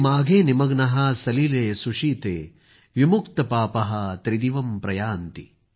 माघे निमग्नाः सलिले सुशीते विमुक्तपापाः त्रिदिवम् प्रयान्ति